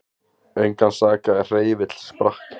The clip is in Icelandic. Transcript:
Engan sakaði er hreyfill sprakk